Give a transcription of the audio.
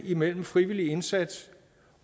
mellem frivillig indsats